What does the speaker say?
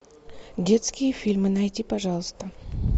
детские фильмы найди пожалуйста